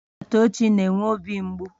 Naetochi na-enwe obi mgbu